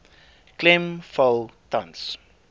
klem val tans